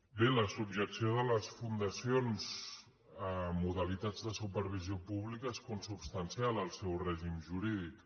bé la subjecció de les fundacions a modalitats de supervisió pública és consubstancial al seu règim jurídic